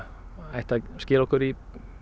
ættu að skila okkur í